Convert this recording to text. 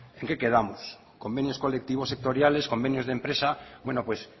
en qué quedamos convenios colectivos sectoriales convenios de empresa bueno pues